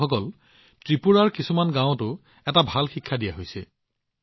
বন্ধুসকল ত্ৰিপুৰাৰ কিছুমান গাওঁয়েও যথেষ্ট ভাল উদাহৰণ প্ৰদৰ্শন কৰিছে